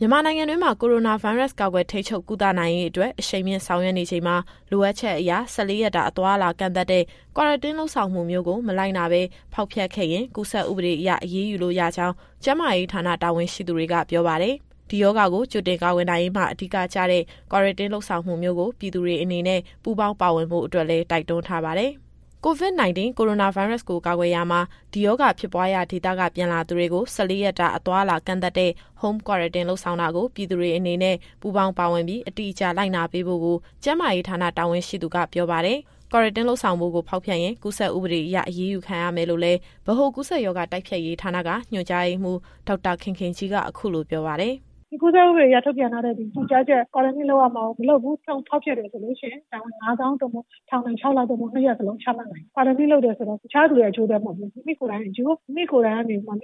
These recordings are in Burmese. မြန်မာနိုင်ငံတွင်းမှာ ကိုရိုနာဗိုင်းရပ်စ် ကာကွယ်ထိန်းချုပ် ကုသနိုင်ရေးအတွက် အရှိန်မြှင့်ဆောင်ရွက်နေချိန်မှာ လိုအပ်ချက်အရ ၁၄ ရက်တာ အသွားအလာ ကန့်သတ်တဲ့ Quarantine လုပ်ဆောင်မှုမျိုးကို မလိုက်နာဘဲ ဖောက်ဖျက်ခဲ့ရင် ကူးစက်ဥပဒေအရ အရေးယူလို့ရကြောင်း ကျန်းမာရေးဌာန တာဝန်ရှိသူတွေက ပြောပါတယ်။ ဒီရောဂါကို ကြိုတင်ကာကွယ်နိုင်ရေးမှာ အဓိကကျတဲ့ Quarantine လုပ်ဆောင်မှုမျိုးကို ပြည်သူတွေအနေနဲ့ ပူးပေါင်းပါဝင်ဖို့အတွက်လည်း တိုက်တွန်းထားပါတယ်။ အပြည့်အစုံကို ဗွီအိုအေသတင်းထောက် စုစုကပြောပြသွားမှာပါ။ COVID-19 ကိုရိုနာဗိုင်းရပ်စ်ကို ကာကွယ်ရာမှာ ဒီရောဂါဖြစ်ပွားရာဒေသက ပြန်လာသူတွေကို ၁၄ ရက်တာ အသွားအလာကန့်သတ်ထားတဲ့ Home Quarantine လုပ်ဆောင်တာကို ပြည်သူတွေအနေနဲ့ ပူးပေါင်းပါဝင်ပြီး အတိအကျလိုက်နာပေးဖို့ကို ကျန်းမာရေးဌာန တာဝန်ရှိသူကပြောပါတယ်။ Quarantine လုပ်ဆောင်ဖို့ကို ဖောက်ဖျက်ရင် ကူးစက်ဥပဒေအရ အရေးယူခံရမယ်လို့လည်း ဗဟိုကူးစက်ရောဂါ တိုက်ဖျက်ရေးဌာနက ညွှန်ကြားရေးမှူး ဒေါက်တာခင်ခင်ကြီးက အခုလိုပြောပါတယ်။ “ဒီကူးစက်ဥပဒေအရ ထုတ်ပြန်ထားတဲ့ ညွှန်ကြားချက်၊ Quarantine လုပ်ရမှာကို မလုပ်ဘူး၊ ဖောက်ဖျက်တယ်ဆိုလို့ရှိရင် ဒဏ်ငွေ ငါးသောင်း သို့မဟုတ် ထောင်ဒဏ် ခြောက်လ သို့မဟုတ် နှစ်ရပ်လုံးချမှတ်နိုင်တယ်။ Quarantine လုပ်တယ်ဆိုတာ တခြားသူရဲ့ အကျိုးအတွက်မဟုတ်ဘူး။ မိမိကိုယ်တိုင်အကျိုး၊ မိမိက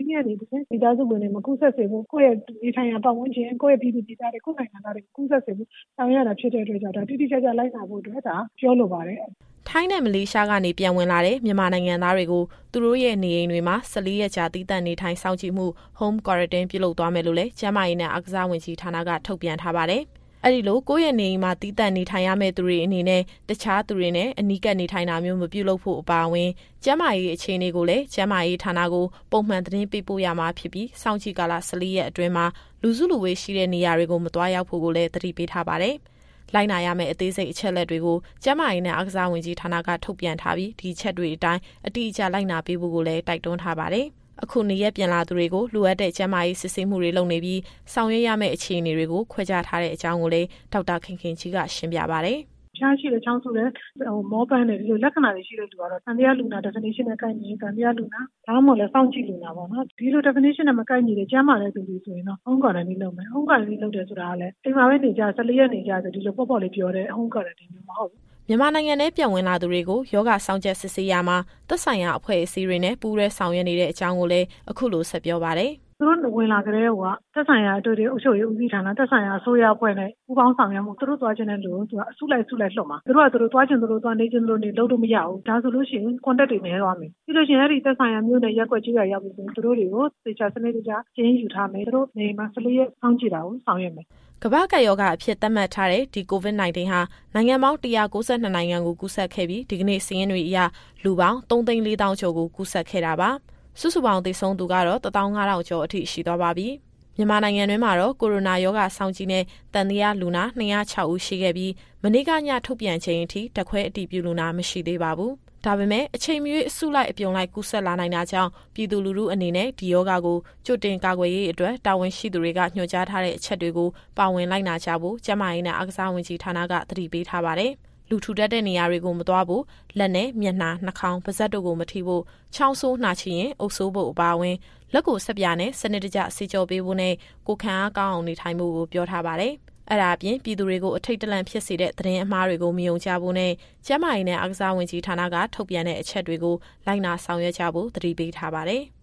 နေ တဆင့် မိသားစုဝင်တွေ မကူးစက်စေဖို့၊ ကိုယ့်ရဲ့နေထိုင်ရာ ပတ်ဝန်းကျင်၊ ကိုယ့်ရဲ့ပြည်သူပြည်သားတွေ ကိုယ့်နိုင်ငံသားတွေ မကူးစက်စေဖို့ ဆောင်ရွက်ရတာဖြစ်တဲ့အတွက်ကြောင့် ဒါကိုတိတိကျကျ လိုက်နာဖို့အတွက် ပြောလိုပါတယ်။” ထိုင်းနဲ့ မလေးရှားကနေ ပြန်ဝင်လာတဲ့ မြန်မာနိုင်ငံသားတွေကို သူတို့ရဲ့ နေအိမ်တွေမှာ ၁၄ ရက်ကြာ သီးသန့်နေထိုင်စောင့်ကြည့်မှု Home Quarantine ပြုလုပ်သွားမယ်လို့လည်း ကျန်းမာရေးနဲ့အားကစားဝန်ကြီးဌာနက ထုတ်ပြန်ထားပါတယ်။ အဲဒီလို ကိုယ့်ရဲ့နေအိမ်မှာ သီးသန့်နေထိုင်ရမယ့်သူတွေအနေနဲ့ တခြားသူတွေနဲ့ အနီးကပ်နေထိုင်တာမျိုး မပြုလုပ်ဖို့အပါအဝင် ကျန်းမာရေးအခြေအနေကိုလည်း ကျန်းမာရေးဌာနကို ပုံမှန်သတင်းပေးပို့ရမှာဖြစ်ပြီး စောင့်ကြည့်ကာလ ၁၄ ရက်အတွင်းမှာ လူစုလူဝေးရှိတဲ့နေရာတွေကို မသွားရောက်ဖို့ကိုလည်း သတိပေးထားပါတယ်။ လိုက်နာရမယ့် အသေးစိတ်အချက်အလက်တွေကို ကျန်းမာရေးနဲ့ အားကစားဝန်ကြီးဌာနက ထုတ်ပြန်ထားပြီး ဒီအချက်တွေအတိုင်း အတိအကျလိုက်နာပေးဖို့ကိုလည်း တိုက်တွန်းထားပါတယ်။ အခုနေရပ်ပြန်လာသူတွေကို လိုအပ်တဲ့ကျန်းမာရေး စစ်ဆေးမှုတွေ လုပ်နေပြီး ဆောင်ရွက်ပေးရမယ့်အခြေအနေတွေကို ခွဲခြားထားတဲ့အကြောင်းကိုလည်း ဒေါက်တာခင်ခင်ကြီးက ရှင်းပြပါတယ်။ “အဖျားရှိတယ်၊ ချောင်းဆိုးတယ်၊ မောပန်းတယ်။ ဒီလိုလက္ခဏာတွေ ရှိတဲ့လူကတော့ သံသယလူနာ Definition နဲ့ ကိုက်ညီရင် သံသယလူနာ၊ ဒါမှမဟုတ်လည်း စောင့်ကြည့်လူနာပေါ့နော်။ ဒီလို Definition နဲ့ မကိုက်ညီတဲ့ ကျန်းမာတဲ့သူတွေဆိုရင်တော့ Home Quarantine လုပ်မယ်။ Home Quarantine လုပ်တယ်ဆိုတာကလည်း အိမ်မှာပဲ ၁၄ရက်နေကြဆိုပြီး ဒီလိုပေါ့ပေါ့လေးပြောတဲ့ Home Quarantine မျိုးမဟုတ်ဘူး။” မြန်မာနိုင်ငံထဲ ပြန်ဝင်လာသူတွေကို ရောဂါစောင့်ကြပ်စစ်ဆေးရာမှာ သက်ဆိုင်ရာအဖွဲ့တွေနဲ့ ပူးတွဲဆောင်ရွက်နေကြောင်းလည်း အခုလိုဆက်ပြောပါတယ်။ “သူတို့ဝင်လာကတည်းကိုက သက်ဆိုင်ရာအထွေထွေ အုပ်ချုပ်ရေးဦးစီးဌာန၊ သက်ဆိုင်ရာအစိုးရအဖွဲ့နဲ့ ပူးပေါင်းဆောင်ရွက်ပြီးတော့ သူတို့သွားမယ့်နေရာကို အစုလိုက်လွှတ်မှာ။ သူတို့ဟာသူတို့ သွားချင်သလိုသွား နေချင်သလိုနေ လုပ်လို့မရဘူး။ ဒါဆိုလို့ရှိရင် Contact တွေနည်းသွားမယ်။ ပြီးရင် သူတို့နဲ့သက်ဆိုင်တဲ့ နေရပ်တွေကိုပြန်ရောက်ပြီဆိုရင် သူတို့တွေကို သေချာစနစ်တကျ စာရင်းယူထားမယ်။ သူတို့နေအိမ်မှာ ၁၄ရက်စောင့်ကြည့်တာကို ဆောင်ရွက်မယ်။” ကမ္ဘာ့ကပ်ရောဂါအဖြစ် သတ်မှတ်ထားတဲ့ ဒီ COVID-19 ဟာ နိုင်ငံပေါင်း ၁၉၂ နိုင်ငံကို ကူးစက်ခဲ့ပြီး ဒီကနေ့စာရင်းတွေအရ လူပေါင်း ၃၄၀,၀၀၀ ကျော်ကို ကူးစက်ခဲ့တာပါ။ စုစုပေါင်း သေဆုံးသူကတော့ ၁၅,၀၀၀ ကျော်အထိ ရှိသွားပါပြီ။ မြန်မာနိုင်ငံတွင်းမှာတော့ ကိုရိုနာရောဂါစောင့်ကြည့်နဲ့ သံသယလူနာ ၂၀၆ ဦးရှိခဲ့ပြီး မနေ့က ညထုတ်ပြန်ချိန်အထိ ဓာတ်ခွဲအတည်ပြုလူနာ မရှိသေးပါဘူး။ ဒါပေမယ့် အချိန်မရွေး အစုလိုက်အပြုံလိုက် ကူးစက်လာနိုင်တာကြောင့် ပြည်သူလူထုအနေနဲ့ ဒီရောဂါကို ကြိုတင်ကာကွယ်ရေးအတွက် တာဝန်ရှိသူတွေက ညွှန်ကြားထားတဲ့အချက်တွေကို ပါဝင်လိုက်နာကြဖို့ ကျန်းမာရေးနဲ့ အားကစားဝန်ကြီးဌာနက သတိပေးထားပါတယ်။ လူထူထပ်တဲ့နေရာကိုမသွားဖို့၊ လက်နဲ့ မျက်နှာ၊ နှာခေါင်း၊ ပါးစပ်တို့ကိုမထိဖို့၊ ချောင်းဆိုးနှာချေရင် အုပ်စိုးဖို့အပါအဝင်၊ လက်ကိုဆပ်ပြာနဲ့ စနစ်တကျသေချာဆေးကြောပေးဖို့နဲ့ ကိုယ်ခံအားကောင်းအောင် နေထိုင်ဖို့ကို ပြောထားပါတယ်။ အဲဒါအပြင် ပြည်သူတွေကို အထိတ်တလန့်ဖြစ်စေတဲ့ သတင်းအမှားတွေကို မယုံကြဖို့နဲ့ ကျန်းမာရေးနဲ့ အားကစားဝန်ကြီးဌာနက ထုတ်ပြန်တဲ့ အချက်တွေကို လိုက်နာဆောင်ရွက်ကြဖို့ သတိပေးထားပါတယ်။